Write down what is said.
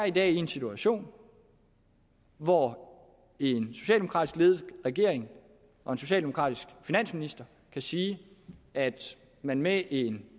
i dag er i en situation hvor en socialdemokratisk ledet regering og en socialdemokratisk finansminister kan sige at man med en